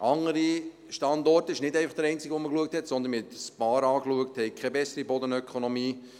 Andere Standorte – es war nicht der einzige, den man angeschaut hat, sondern man hat ein paar angeschaut – haben keine bessere Bodenökonomie.